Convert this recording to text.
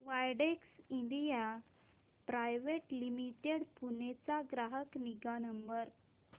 Widex India private limited Pune चा ग्राहक निगा नंबर